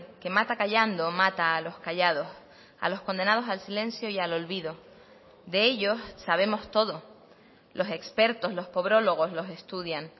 que mata callando mata a los callados a los condenados al silencio y al olvido de ellos sabemos todo los expertos los pobrólogos los estudian